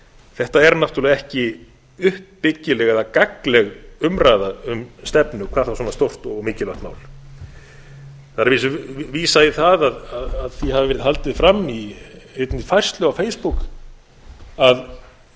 þetta er náttúrlega ekki uppbyggileg eða gagnleg umræða um stefnu hvað þá svona stórt og mikilvægt mál það er að vísu vísað í það að því hafi verið haldið fram í einni færslu á face book að